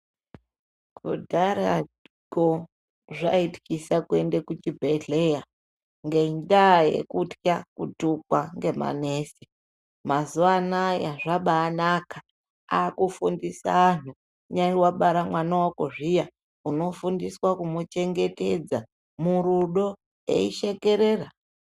Kudharako zvaityisa kuende kuchibhedhleya, ngendaa yekutya kutukwa ngemanesi. Mazuwa anaya zvabanaka. Akufundisa anhu, kunyari wabara mwana wako zviya, unofundiswa kumuchengetedza, murudo eishekerera.